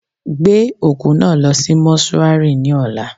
Gbé òkú náà lọ sí mọ́ṣúárì ní ọ̀la.